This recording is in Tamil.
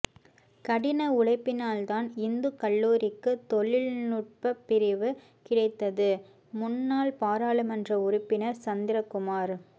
கடின உழைப்பினால்தான் இந்துக் கல்லூரிக்கு தொழிநுடப் பிரிவு கிடைத்தது முன்னாள் பாராளுமன்ற உறுப்பினா் சந்திரகுமாா்